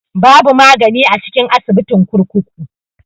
Babu magani a cikin asibitin kurkuku.